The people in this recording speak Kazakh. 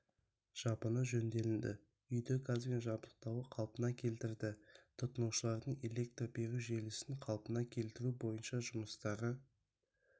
жабыны жөнделінді үйде газбен жабдықтауы қалпына келтірді тұтынушылардың электр беру желісін қалпына келтіру бойынша жұмыстары